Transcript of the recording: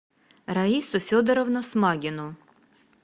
раису федоровну смагину